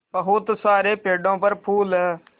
बहुत सारे पेड़ों पर फूल है